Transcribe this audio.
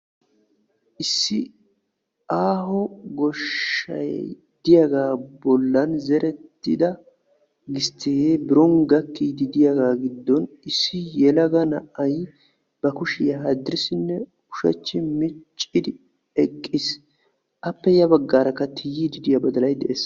Issi aaho goshshay diyaaga bollan zerettidda gistte de'iyaga bolli issi yelaga na'ay ba kushiya yaanne haane micciis.